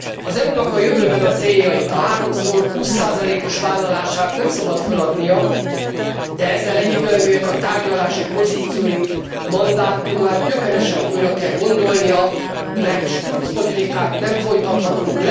Az EU nak a jövőben a céljait, a háromszor 20 os vállalását nem szabad föladnia, de ezzel egyidejűleg a tárgyalási pozícióit, mandátumát gyökeresen újra kell gondolnia, mert struccpolitikát nem folytathatunk.